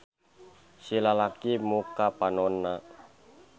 Si lalaki muka panonna.